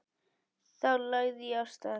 Þá lagði ég af stað.